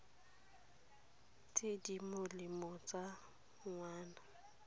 tse di molemo tsa ngwana